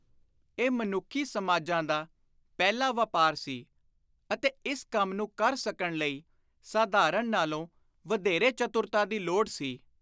ਇਹ ਮਨੁੱਖੀ ਸਮਾਜਾਂ ਦਾ ਪਹਿਲਾ ਵਾਪਾਰ ਸੀ ਅਤੇ ਇਸ ਕੰਮ ਨੂੰ ਕਰ ਸਕਣ ਲਈ ਸਾਧਾਰਣ ਨਾਲੋਂ ਵਧੇਰੇ ਚਤੁਰਤਾ ਦੀ ਲੋੜ ਸੀ।